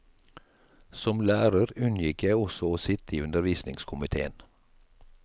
Som lærer unngikk jeg også å sitte i undervisningskomitéen.